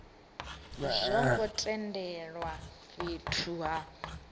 zwo ngo tendelwa fhethu ha